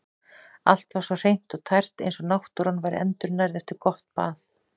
Allt var svo hreint og tært eins og náttúran væri endurnærð eftir gott bað.